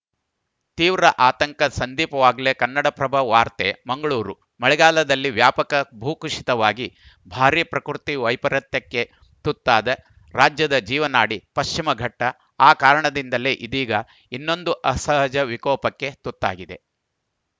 ತೀವ್ರ ಆತಂಕ ಸಂದೀಪ್‌ ವಾಗ್ಲೆ ಕನ್ನಡಪ್ರಭ ವಾರ್ತೆ ಮಂಗಳೂರು ಮಳೆಗಾಲದಲ್ಲಿ ವ್ಯಾಪಕ ಭೂಕುಸಿತವಾಗಿ ಭಾರಿ ಪ್ರಕೃತಿ ವೈಪರೀತ್ಯಕ್ಕೆ ತುತ್ತಾದ ರಾಜ್ಯದ ಜೀವನಾಡಿ ಪಶ್ಚಿಮಘಟ್ಟಆ ಕಾರಣದಿಂದಲೇ ಇದೀಗ ಇನ್ನೊಂದು ಅಸಹಜ ವಿಕೋಪಕ್ಕೆ ತುತ್ತಾಗಿದೆ